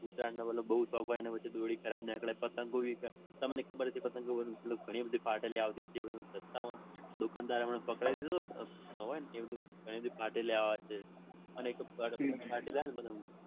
ઉત્તરાયણનો બૌ શોખ હોય ને પછી દોયડી ખરાબ નીકળે પતંગો બી ફાટેલા નીકળે તમને ખબર છે. પતંગો બી ઘણી બધી ફાટેલી આવે છે એક વખત રસ્તામાં દુકાનદારે પકડાવી દીધો તો ને હોય ને એ ઘણી વખત ફાટેલી નીકળે છે. અને એક તો ફાટેલા હોય ને